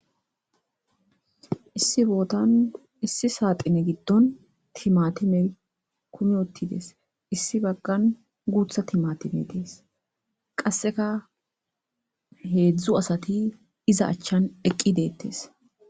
Issi bottan issi saxinne gidon timatimey kumi utides Issi bagan guththa timatimey des qasekka hezdzdu asati iza achan eqi detes